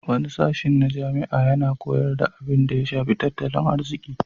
Wani sashin na jami'a yana koyar da abinda ya shafi tattalin arziki.